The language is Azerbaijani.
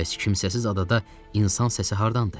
Bəs kimsəsiz adada insan səsi hardandır?